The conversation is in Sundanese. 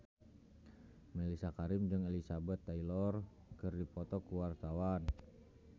Mellisa Karim jeung Elizabeth Taylor keur dipoto ku wartawan